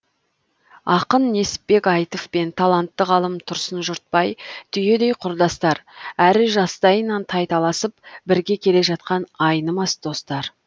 ақын несіпбек айтов пен талантты ғалым тұрсын жұртбай түйедей құрдастар әрі жастайынан тайталасып бірге келе жатқан айнымас достар